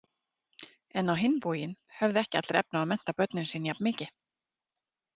En á hinn bóginn höfðu ekki allir efni á að mennta börnin sín jafn mikið.